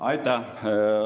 Aitäh!